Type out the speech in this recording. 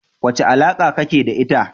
Wace alaka kake da ita?